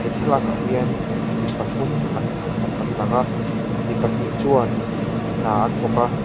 he thlalak ah hian mipathum an an lang a mi pahnih chuan hna an thawk a.